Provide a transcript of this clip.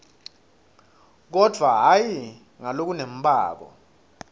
kodvwa hhayi ngalokunembako